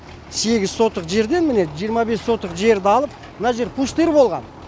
сегіз сотық жерде міне жиырма бес сотық жерді алып мына жер пустырь болған